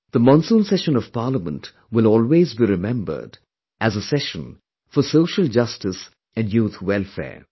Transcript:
This Monsoon session of Parliament will always be remembered as a session for social justice and youth welfare